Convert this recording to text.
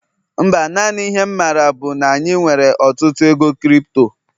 Mba, naanị ihe'm maara bu na anyị nwere ọtụtụ ego crypto